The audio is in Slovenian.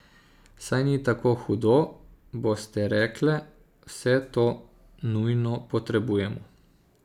Saj ni tako hudo, boste rekle, vse to nujno potrebujemo.